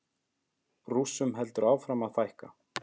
Rússum heldur áfram að fækka